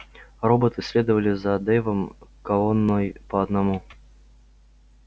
роботы следовали за дейвом колонной по одному